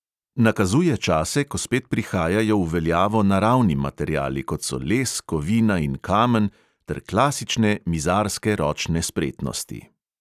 Nakazuje čase, ko spet prihajajo v veljavo naravni materiali, kot so les, kovina in kamen, ter klasične mizarske ročne spretnosti.